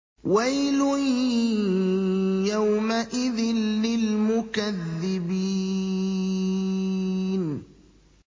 وَيْلٌ يَوْمَئِذٍ لِّلْمُكَذِّبِينَ